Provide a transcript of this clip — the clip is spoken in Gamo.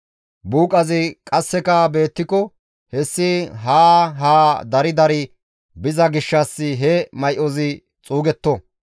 Buuqazi qasseka beettiko hessi gede dari dari biza gishshas he may7ozi xuugetto.